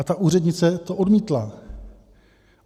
A ta úřednice to odmítla.